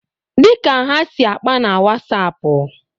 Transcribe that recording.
Dịka ha si akpa na Wasapụ